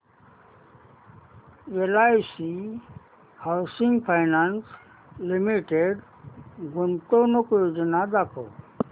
LIC housing finance limited गुंतवणूक योजना दाखव